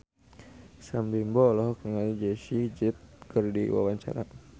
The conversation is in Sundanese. Sam Bimbo olohok ningali Jessie J keur diwawancara